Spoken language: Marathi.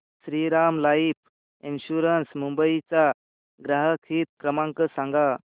श्रीराम लाइफ इन्शुरंस मुंबई चा ग्राहक हित क्रमांक सांगा